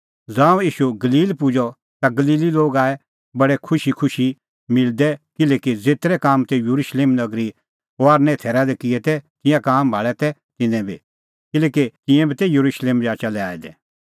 ज़ांऊं ईशू गलील पुजअ ता गलीली लोग आऐ बडी खुशीखुशी मिलदै किल्हैकि ज़ेतरै काम तेऊ येरुशलेम नगरीए जाचा दी किऐ तै तिंयां काम भाल़ै तै तिन्नैं बी किल्हैकि तिंयां बी तै येरुशलेम जाचा लै आऐ दै